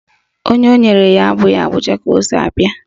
Onye o nyere ya abụghị Abuja ka o si bia